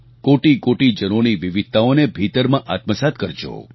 કોટિકોટિ જનોની વિવિધતાઓને ભીતરમાં આત્મસાત્ કરજો